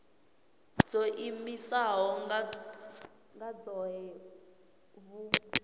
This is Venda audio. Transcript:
dzo iimisaho nga dzohe vhu